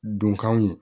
Donkanw ye